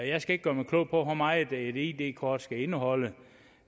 jeg skal ikke gøre mig klog på hvor meget et id kort skal indeholde